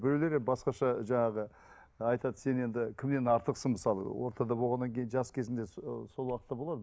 біреулері басқаша жаңағы айтады сен енді кімнен артықсың мысалы ортада болғаннан кейін жас кезінде ы сол уақытта болады